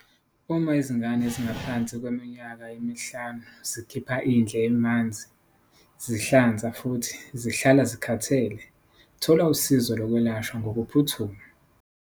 Uma izingane ezingaphansi kweminyaka emihlanu zikhipha indle emanzi, zihlanza futhi zihlala zikhathele, thola usizo lokwelashwa ngokuphuthuma.